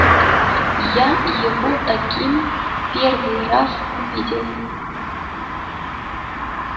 я его таким первый раз увидела